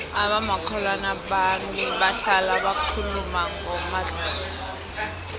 abomakhelwana bami bahlala bakhuluma ngomadluphuthu